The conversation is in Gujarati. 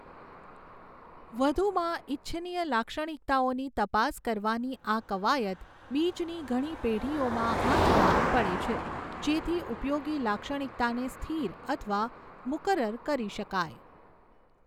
વધુમાં, ઇચ્છનિય લાક્ષણિકતાઓની તપાસ કરવાની આ કવાયત બીજની ઘણી પેઢીઓમાં હાથ ધરવી પડે છે જેથી ઉપયોગી લાક્ષણિકતાને સ્થિર અથવા મુકરર કરી શકાય.